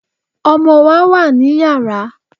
Ọmọ wa wà ní Yàrá.